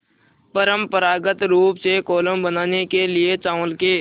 परम्परागत रूप से कोलम बनाने के लिए चावल के